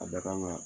A bɛ kan ka